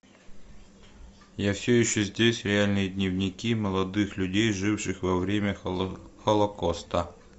я все еще здесь реальные дневники молодых людей живших во время холокоста